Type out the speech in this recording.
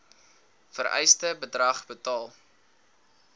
vereiste bedrag betaal